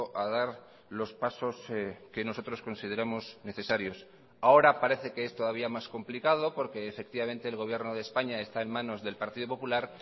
a dar los pasos que nosotros consideramos necesarios ahora parece que es todavía más complicado porque efectivamente el gobierno de españa está en manos del partido popular